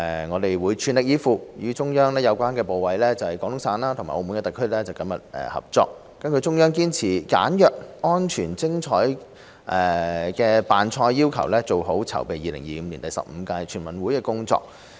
我們會全力以赴，與中央有關部委、廣東省及澳門特區政府緊密合作，根據中央堅持"簡約、安全、精彩"的辦賽要求，做好籌備2025年第十五屆全運會的工作。